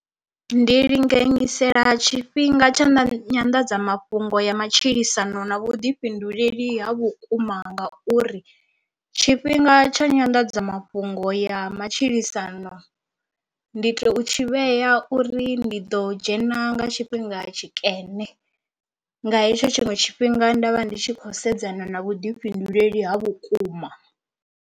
Ndi linganyisela tshifhinga tsha nyanḓadzamafhungo ya matshilisano na vhuḓifhinduleli ha vhukuma ngauri tshifhinga tsha nyanḓadzamafhungo ya matshilisano ndi tou u tshi vhea uri ndi ḓo dzhena nga tshifhinga tshikene, nga hetsho tshiṅwe tshifhinga nda vha ndi tshi kho sedzana na vhuḓifhinduleli ha vhukuma.